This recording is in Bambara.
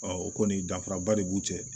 o kɔni danfara ba de b'u cɛ